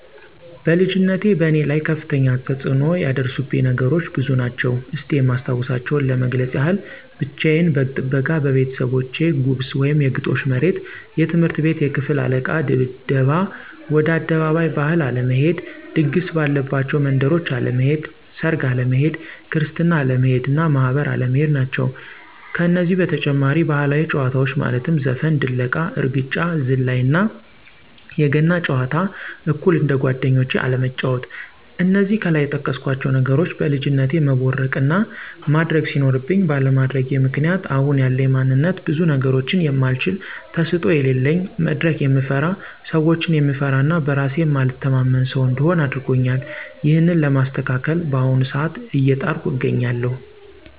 በልጅነቴ በእኔ ላይ ከፍተኛ ተፅኖ ያደረሱብኝ ነገሮች ብዙ ናቸው። እስቲ የማስታውሳቸውን ለመግለፅ ያክል፦ ብቻየን በግ ጥበቃ በቤተሰቦቼ ጉብስ(የግጦሽ መሬት)፣ትምህርት ቤት የክፍል አለቃ ድብደባ፣ ወደ አደባባይ ባህል አለመሄድ፣ ድግስ ባለባቸው መንደሮች አለመሄድ፣ ሰርግ አለመሄድ፣ ክርስትና አለመሄድ እና ማህበር አለመሄድ ናቸው። ከነዚህ በተጨማሪ ባህላዊ ጨዋታዎች ማለትም ዘፈን፣ ድለቃ፣ እርግጫ፣ ዝላይ እና የገና ጨዋታ አኩል እንደጓደኞቼ አለመጫዎት። እነዚህ ከላይ የጠቀስኳቸው ነገሮች በልጅነቴ መቦረቅ እና ማድረግ ሲኖርብኝ ባለማድረጌ ምክንያት አሁን ያለኝ ማንነት ብዙ ነገሮችን የማልችል፣ ተሰጦ የለለኝ፣ መድረክ የምፈራ፣ ሰዎችን የምፈራ እና በእራሴ የማልተማመን ሰው እንድሆን አድርጎኛል። ይህንን ለማስተካከል በአሁኑ ሰአት አየጣርኩ አገኛለሁ።